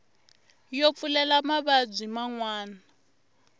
yo pfulela mavabyi man wana